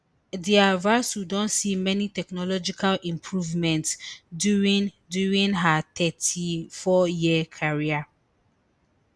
Dia vasu don see many technological improvements during during her thirty-four year career